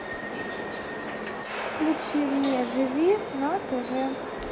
включи мне живи на тв